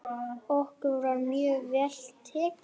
Okkur var mjög vel tekið.